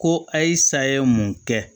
Ko a ye saya ye mun kɛ